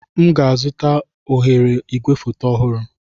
M ga-azụta oghere igwefoto ọhụrụ.